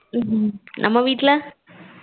ஹம் நம்ம வீட்டுல